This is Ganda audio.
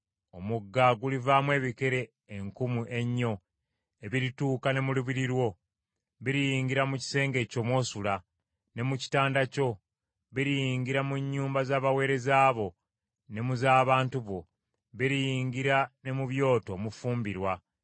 Omugga gulivaamu ebikere enkumu ennyo ebirituuka ne mu lubiri lwo. Biriyingira mu kisenge kyo mw’osula, ne ku kitanda kyo. Biriyingira mu nnyumba z’abaweereza bo ne mu z’abantu bo. Biriyingira ne mu byoto omufumbirwa.